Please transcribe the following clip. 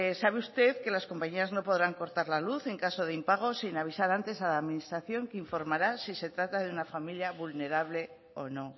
sabe usted que las compañías no podrán cortar la luz en caso de impago sin avisar antes a la administración que informará si se trata de una familia vulnerable o no